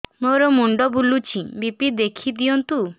ମୋର ମୁଣ୍ଡ ବୁଲେଛି ବି.ପି ଦେଖି ଦିଅନ୍ତୁ